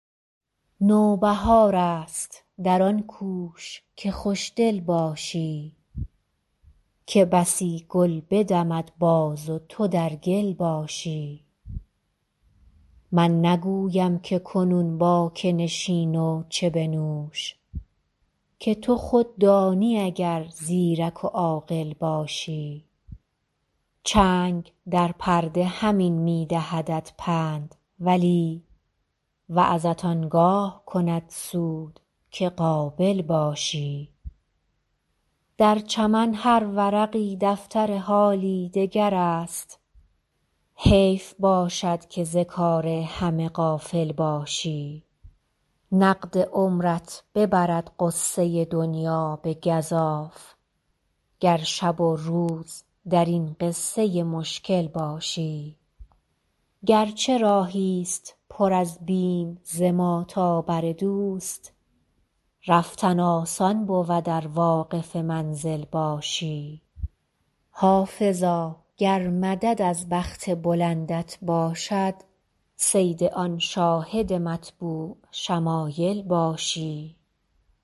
نوبهار است در آن کوش که خوش دل باشی که بسی گل بدمد باز و تو در گل باشی من نگویم که کنون با که نشین و چه بنوش که تو خود دانی اگر زیرک و عاقل باشی چنگ در پرده همین می دهدت پند ولی وعظت آن گاه کند سود که قابل باشی در چمن هر ورقی دفتر حالی دگر است حیف باشد که ز کار همه غافل باشی نقد عمرت ببرد غصه دنیا به گزاف گر شب و روز در این قصه مشکل باشی گر چه راهی ست پر از بیم ز ما تا بر دوست رفتن آسان بود ار واقف منزل باشی حافظا گر مدد از بخت بلندت باشد صید آن شاهد مطبوع شمایل باشی